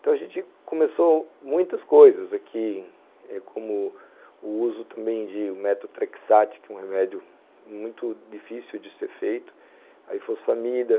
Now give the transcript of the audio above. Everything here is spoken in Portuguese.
Então a gente começou muitas coisas aqui, como o uso também de metotrexate, que é um remédio muito difícil de ser feito, aifosfamida.